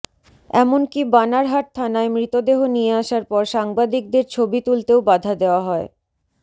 এমনকী বানারহাট থানায় মৃতদেহ নিয়ে আসার পর সাংবাদিকদের ছবি তুলতেও বাধা দেওয়া হয়